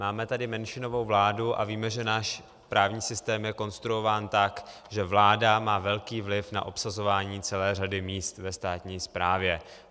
Máme tady menšinovou vládu a víme, že náš právní systém je konstruován tak, že vláda má velký vliv na obsazování celé řady míst ve státní správě.